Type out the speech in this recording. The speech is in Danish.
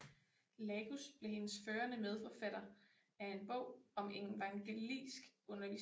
Lagus blev hendes førende medforfatter af en bog om evangelisk undervisning